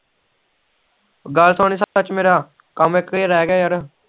ਗੱਲ ਸੁਣੀ ਸੱਚ ਮੇਰਾ ਕਾਮ ਇਕੋ ਰਹਿ ਗਿਆ ਯਾਰ